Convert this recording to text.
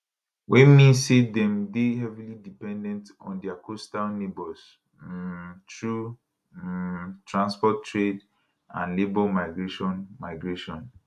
wey mean say dem dey heavily dependant on dia coastal neighbours um through um transport trade and labour migration migration